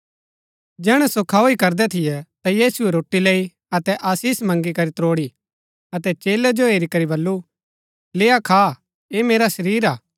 जैहणै सो खाऊ ही करदै थियै ता यीशुऐ रोटी लैई अतै आशीष मगींकरी त्रोड़ी अतै चेलै जो हेरी करी बल्लू लेय्आ खा ऐह मेरा शरीर हा